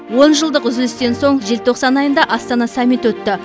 онжылдық үзілістен соң желтоқсан айында астана саммиті өтті